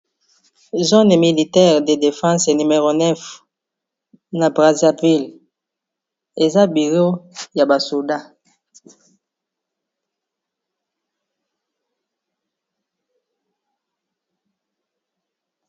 Zone militaire de defense n9 na brazaville eza biro ya basoda.